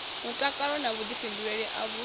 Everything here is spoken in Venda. mutakalo na vhuḓifhinduleli a vhu